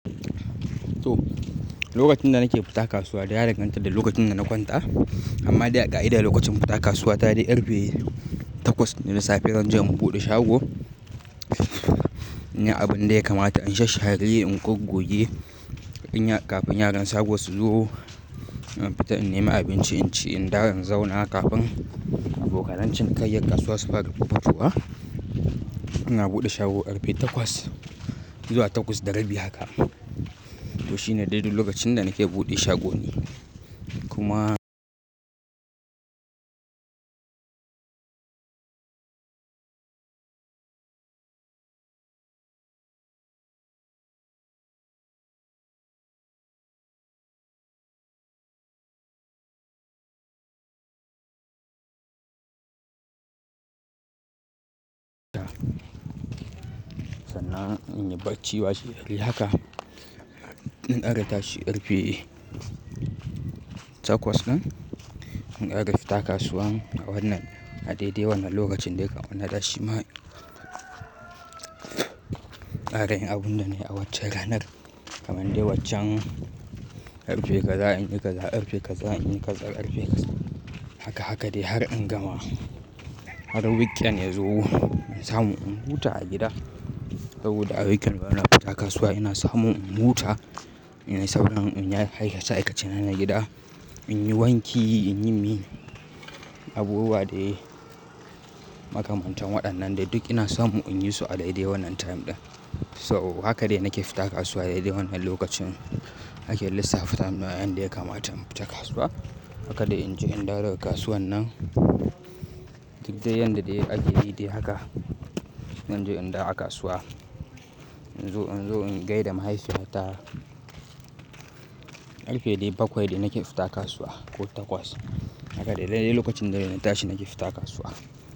To, lokacin da nake fita kasuwa da ya danganta da lokacin da na kwanta. Amma dai a ka'ida lokacin fita kasuwa ta dai karfe takwas na safe zanje inbuɗe shago. In yi abin da ya kamata, in shashshare in goggoge kafin yaran safe su zo. In fita in nemi abinci, in ci, in dawo in zauna kafin abokanan cinikaiyar kasuwa su fara fuffutowa. Ina buɗe shago arbi takwas zuwa takwas da rabi haka. To shi ne daidai lokacin da nake buɗe shagoni. Kuma Sannan in yi bacci washe gari haka. In aka tashi karfe takwas din in ƙara fita kasuwa a wannan, a daidai wannan lokacin dai kamana tashi ma. Ƙara yin abun da na yi a waccen ranar. Kamande waccen karfe kaza in yi kaza, karfe kaza in yi kaza, karfe kaza. Haka haka dai har in gama. Har weekend ya zo, ya samu in huta a gida. Saboda a weekend bana fita kasuwa ina samu in huta, in yi sauran, in yi aikace-aikacena na gida. In yi wanki, in yi mi abubuwa da makamantan waɗannan dai duk ina samu in yi su a daidai wannan time ɗin. So haka dai nake fita kasuwa daidai wannan lokacin ake lissafta wa yan da ya kamata mu fita kasuwa. Haka dai in je in dawo ga kasuwan nan. Duk dai yanda dai ake yi dai haka. Zanje in dawo a kasuwa. In zo in zo in gaida mahaifiyata. Karfe dai bakwai dai nake fita kasuwa ko takwas. Haka dai dai dai lokacin da zan tashi nake fita kasuwa.